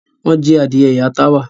Wọ́n jí adìẹ ìyá Táwà.